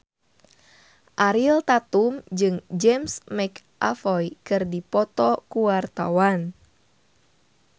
Ariel Tatum jeung James McAvoy keur dipoto ku wartawan